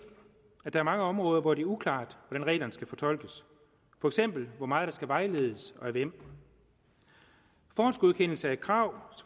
at der er mange områder hvor det er uklart hvordan reglerne skal fortolkes for eksempel hvor meget der skal vejledes og af hvem forhåndsgodkendelse af krav